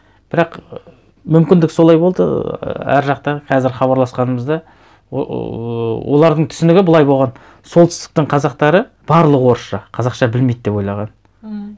бірақ мүмкіндік солай болды ы әр жақтан қазір хабарласқанымызда олардың түсінігі былай болған солтүстіктің қазақтары барлығы орысша қазақша білмейді деп ойлаған ммм